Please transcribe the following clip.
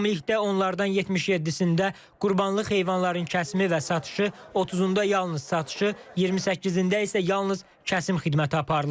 Ümumilikdə onlardan 77-sində qurbanlıq heyvanların kəsimi və satışı, 30-unda yalnız satışı, 28-ində isə yalnız kəsim xidməti aparılır.